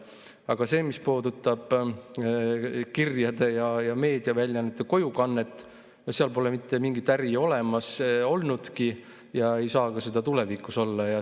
Aga selles osas, mis puudutab kirjade ja meediaväljaannete kojukannet, pole mitte mingit äri olemas olnud ega saa ka tulevikus olema.